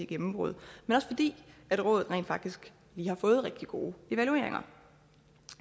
gennembrud men også fordi rådet rent faktisk lige har fået rigtig gode evalueringer